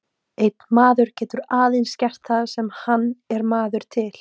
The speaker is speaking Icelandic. Einn maður getur aðeins gert það sem hann er maður til.